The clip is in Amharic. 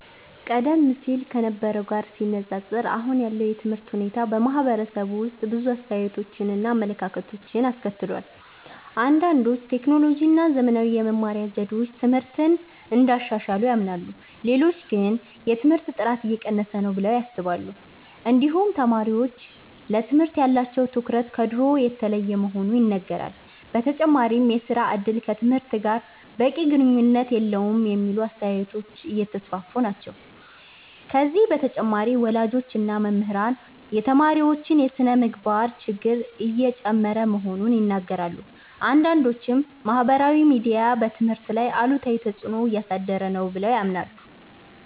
ቀደም ሲል ከነበረው ጋር ሲነፃፀር አሁን ያለው የትምህርት ሁኔታ በማህበረሰቡ ውስጥ ብዙ አስተያየቶችን እና አመለካከቶችን አስከትሏል። አንዳንዶች ቴክኖሎጂ እና ዘመናዊ የመማሪያ ዘዴዎች ትምህርትን እንዳሻሻሉ ያምናሉ። ሌሎች ግን የትምህርት ጥራት እየቀነሰ ነው ብለው ያስባሉ። እንዲሁም ተማሪዎች ለትምህርት ያላቸው ትኩረት ከድሮ የተለየ መሆኑ ይነገራል። በተጨማሪም የሥራ እድል ከትምህርት ጋር በቂ ግንኙነት የለውም የሚሉ አስተያየቶች እየተስፋፉ ናቸው። ከዚህ በተጨማሪ ወላጆች እና መምህራን የተማሪዎች የስነ-ምግባር ችግር እየጨመረ መሆኑን ይናገራሉ። አንዳንዶችም ማህበራዊ ሚዲያ በትምህርት ላይ አሉታዊ ተፅዕኖ እያሳደረ ነው ብለው ያምናሉ።